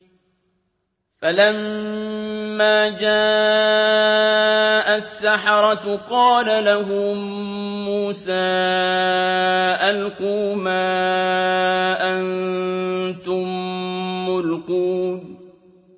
فَلَمَّا جَاءَ السَّحَرَةُ قَالَ لَهُم مُّوسَىٰ أَلْقُوا مَا أَنتُم مُّلْقُونَ